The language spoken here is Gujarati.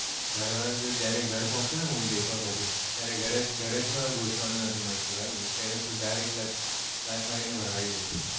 ઘર વાળા તો જયારે ઘર પોચ છે ને movie દેખવા પછી ત્યારે ઘરે જ ઘરે માં જ ઘુસવા નું નથી મળશે ભાઈ પેલે થી direct લાત મારી ને જ ભગાડી દેશે